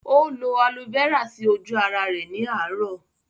Ó lo Aloe Vera sí ojú ara rẹ̀ ní àárọ̀